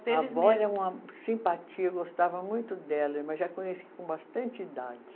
A vó era uma simpatia, eu gostava muito dela, mas já conheci com bastante idade.